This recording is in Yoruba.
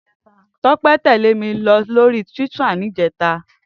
Tope tèlé mi lóri túwìtá nijètá